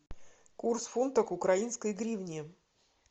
курс фунта к украинской гривне